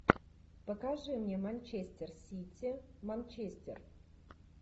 покажи мне манчестер сити манчестер